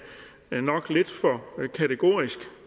nok er lidt for kategorisk